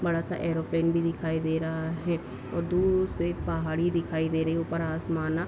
बड़ा सा एयरोप्लेन भी दिखाई दे रहा है और दूर से एक पहाड़ी दिखाई दे रही है। उपर आसमाना --